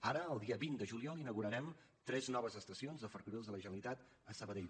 ara el dia vint de juliol inaugurarem tres noves estacions de ferrocarrils de la generalitat a sabadell